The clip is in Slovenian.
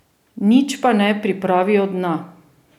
Nič pa ne pripravijo dna.